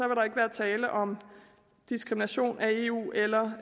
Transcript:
der ikke være tale om diskrimination af eu eller